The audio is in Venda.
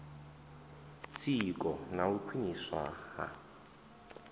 tsiko na u khwiniswa ha